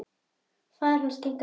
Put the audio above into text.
Faðir hans kinkaði kolli.